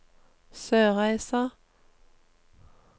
Sørreisa